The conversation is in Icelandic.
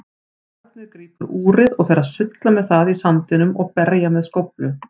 Barnið grípur úrið og fer að sulla með það í sandinum og berja með skóflu.